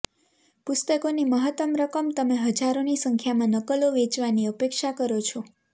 પુસ્તકોની મહત્તમ રકમ તમે હજારોની સંખ્યામાં નકલો વેચવાની અપેક્ષા કરો છો